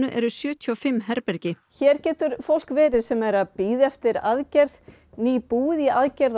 eru sjötíu og fimm herbergi hér getur fólk verið sem er að bíða eftir aðgerð nýbúið í aðgerð